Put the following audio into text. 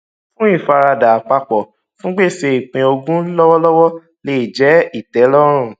fún ìfaradà àpapọ fún gbèsè ìpín ogún lọwọlọwọ lè jẹ ìtẹlọrùn